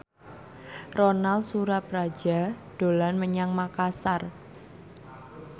Ronal Surapradja dolan menyang Makasar